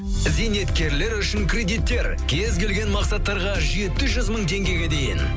зейнеткерлер үшін кредиттер кез келген мақсаттарға жеті жүз мың теңгеге дейін